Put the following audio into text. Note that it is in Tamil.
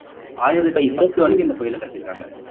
ஆயிரத்தி பத்து வரைக்கும் இந்த கோயிலை கட்டியிருக்காங்க